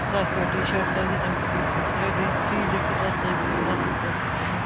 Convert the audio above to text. سفیدٹی شٲٹ لٲگِتھ تہٕ أمِس چُھ پٔتۍ کِنۍ ترٛے وے تھری .لیٚکِھتھ تہٕ أمہِ سٕنٛدِ مستُک رنٛگ چُھ کرٛہُن